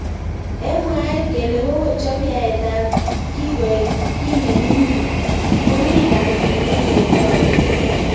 Eng mwaet kele kokochop yaet ab kii koek ki nemingingn komi kasit neketou.